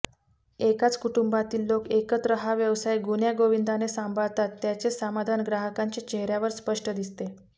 एकाच कुटुंबातील लोक एकत्र हा व्यवसाय गुण्यागोविंदाने सांभाळतात त्याचे समाधान ग्राहकांच्या चेहर्यावर स्पष्ट दिसते